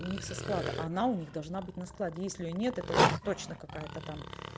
у них со склада она у них должно быть на складе если нет это уже точно какая-то там